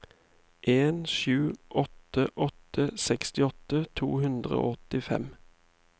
en sju åtte åtte sekstiåtte to hundre og åttifem